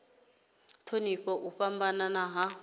u thonifha u fhambana ha